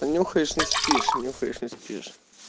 понюхаешь не спишь нюхаешь не спишь